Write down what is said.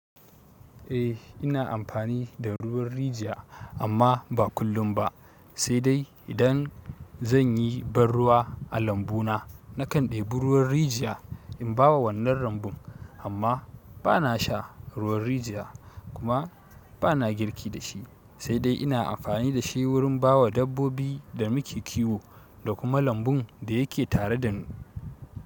Eh ina amfani da ruwan rijiya amma ba kullum ba, sai dai idan zan yi ban ruwa a lambu na nakan ɗebi ruwan rijiya in ba wa wannan lambun amma bana sha ruwan rijiya kuma bana girki da shi sai dai ina amfani da shi wurin ba wa dabbobi da muke kiwo da kuma lambun da yake tare da ni.